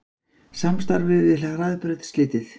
Samstarfi við Hraðbraut slitið